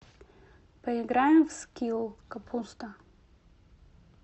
поиграем в скилл капуста